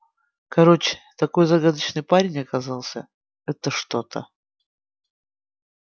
короче такой загадочный парень оказался это что-то